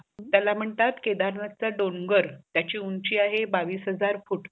त्याला म्हणतात केदारनाथ च डोगर त्याची उंची आहे बावीस हजार फुट